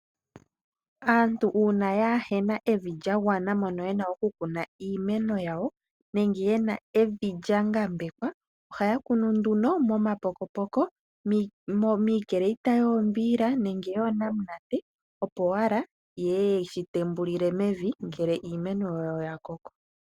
Aantu uuna kaayena evi lyagwana moka yena okukuna iimeno yawo nenge yena evi lyambekwa ohaa kunu nduno muupokopoko miicreita yoombiila nenge yonamunate opo wala yeye yeyi tembulile mevi ngele iimeno yawo ya koko.